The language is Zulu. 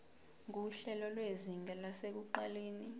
nguhlelo lwezinga lasekuqaleni